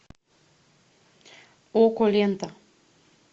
окко лента